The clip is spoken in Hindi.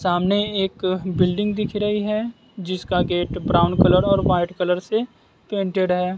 सामने एक बिल्डिंग दिख रही है जिसका गेट ब्राउन कलर और व्हाइट कलर से प्रिंटेड है।